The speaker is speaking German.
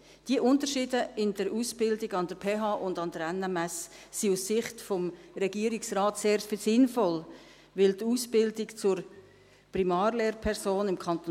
Diese Unterschiede in der Ausbildung an der PH und an der NMS sind aus Sicht des Regierungsrates sehr sinnvoll, denn die Ausbildung zur Primarlehrperson im Kanton